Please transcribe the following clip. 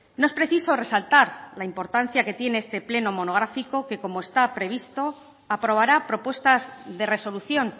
no es preciso resaltar la importancia que tiene este pleno monográfico que como está previsto aprobará propuestas de resolución